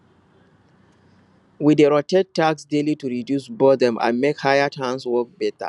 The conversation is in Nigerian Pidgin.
we dey rotate tasks daily to reduce boredom and make hired hands work better